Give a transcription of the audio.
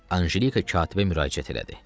Ancelika katibə müraciət elədi.